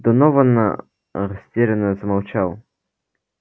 донован растерянно замолчал